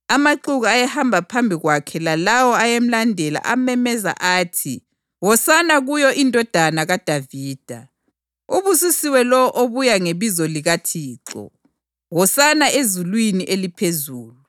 Amaxuku ayehamba phambi kwakhe lalawo ayelandela amemeza athi, “Hosana kuyo iNdodana kaDavida!” + 21.9 AmaHubo 118.26 “Ubusisiwe lowo obuya ngebizo likaThixo!” “Hosana ezulwini eliphezulu!”